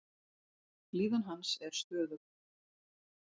Líðan hans er stöðug.